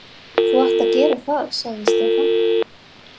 Þú átt að gera það, sagði Stefán.